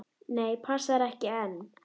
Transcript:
Nei, passar ekki enn!